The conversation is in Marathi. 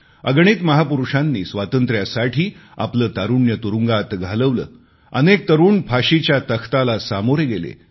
अगणित महापुरुषांनी स्वातंत्र्यासाठी आपले तारुण्य तुरुंगात घालवले अनेक तरुण फाशीच्या तख्तावर चढले